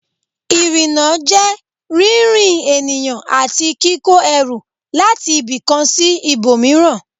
Ìrìnnà jẹ́ rírìn ènìyàn àti kíkó ẹrù láti ibì kan sí ibòmíràn